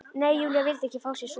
Nei, Júlía vildi ekki fá sér sopa.